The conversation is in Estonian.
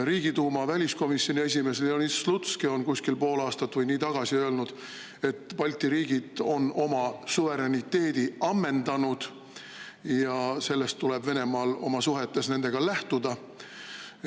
Riigiduuma väliskomisjoni esimees Leonid Slutski on kuskil pool aastat või nii tagasi öelnud, et Balti riigid on oma suveräniteedi ammendanud ja sellest tuleb Venemaal oma suhetes nendega lähtuda.